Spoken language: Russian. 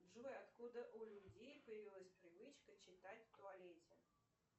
джой откуда у людей появилась привычка читать в туалете